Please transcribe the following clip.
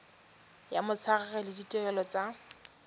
ya motshegare le ditirelo tsa